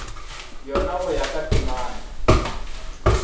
yona go ya ka temana